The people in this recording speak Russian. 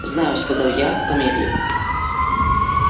знаю сказал я помедлив